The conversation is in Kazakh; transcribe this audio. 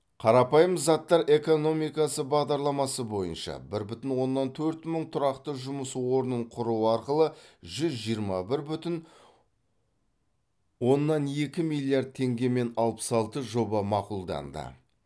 қарапайым заттар экономикасы бағдарламасы бойынша бір бүтін оннан төрт мың тұрақты жұмыс орнын құру арқылы жүз жиырма бір бүтін оннан екі миллиард теңгемен алпыс алты жоба мақұлданды